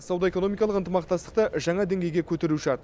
сауда экономикалық ынтымақтастықты жаңа деңгейге көтеру шарт